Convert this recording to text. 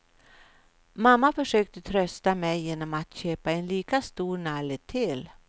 Mamma försökte trösta mig genom att köpa en lika stor nalle till.